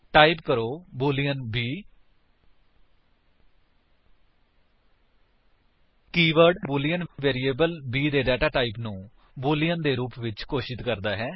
type ਕਰੋ boolean b 160 keyword boolean variable b ਦੇ data type ਨੂੰ ਬੂਲੀਅਨ ਦੇ ਰੂਪ ਵਿੱਚ ਘੋਸ਼ਿਤ ਕਰਦਾ ਹੈ